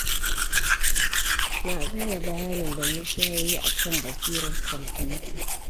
Na gane bayanin da Musa ya yi a kan basirar kwamfuta.